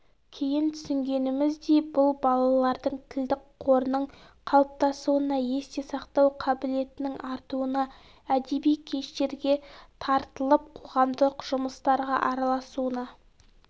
кейін түсінгеніміздей бұл балалардың тілдік қорының қалыптасуына есте сақтау қабілетінің артуына әдеби кештерге тартылып қоғамдық жұмыстарға араласуына